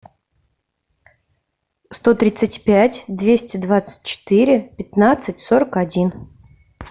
сто тридцать пять двести двадцать четыре пятнадцать сорок один